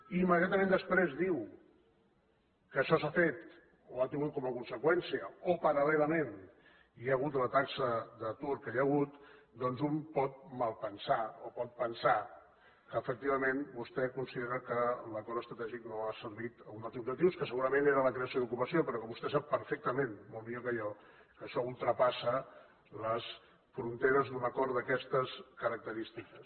i immediatament després diu que això s’ha fet o ha tingut com a conseqüència o paral·lelament hi ha hagut la taxa d’atur que hi ha hagut doncs un pot malpensar o pot pensar que efectivament vostè considera que l’acord estratègic no ha servit a un dels objectius que segurament era la creació d’ocupació però que vostè sap perfectament molt millor que jo que això ultrapassa les fronteres d’un acord d’aquestes característiques